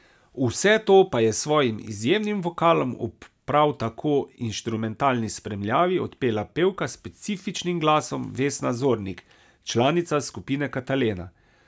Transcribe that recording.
Vse to pa je s svojim izjemnim vokalom, ob prav taki inštrumentalni spremljavi, odpela pevka s specifičnim glasom Vesna Zornik, članica skupine Katalena.